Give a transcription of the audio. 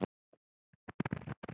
Allt satt.